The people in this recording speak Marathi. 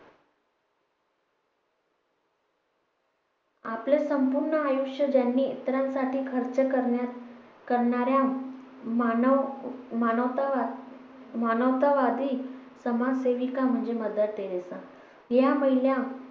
आपले संपूर्ण आयुष्य ज्यांनी इतरांसाठी खर्च करण्यात करणाऱ्या मानव मानवतावा मानवतावादी समाज सेविका म्हणजे मदर तेरेसा. ह्या महिला